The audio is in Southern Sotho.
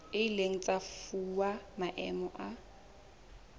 ileng tsa fuwa maemo a